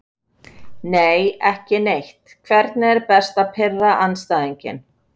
Nei, ekki neitt Hvernig er best að pirra andstæðinginn?